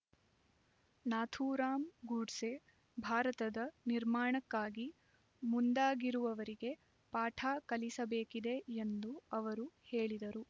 ನಾಥೂರಾಮ್ ಗೂಡ್ಸೆ ಭಾರತದ ನಿರ್ಮಾಣಕ್ಕೆ ಮುಂದಾಗಿರುವವರಿಗೆ ಪಾಠ ಕಲಿಸಬೇಕಿದೆ ಎಂದು ಅವರು ಹೇಳಿದರು